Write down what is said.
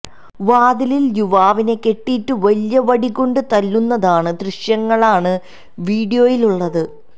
വാതിലില് യുവാവിനെ കെട്ടിയിട്ട് വലിയ വടികൊണ്ട് തല്ലുന്നതാണ് ദൃശ്യങ്ങളാണ് വീഡിയോയിലുള്ളത്